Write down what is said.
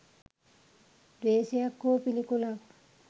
ද්වේශයක් හෝ පිළිකුලක්